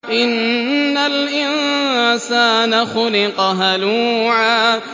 ۞ إِنَّ الْإِنسَانَ خُلِقَ هَلُوعًا